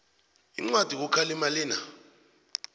incwadi yokukhalima lena